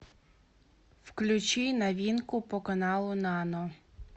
включи новинку по каналу нано